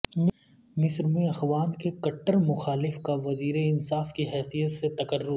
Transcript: مصر میں اخوان کے کٹر مخالف کا وزیر انصاف کی حیثیت سے تقرر